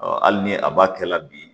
hali ni a b'a kɛ la bi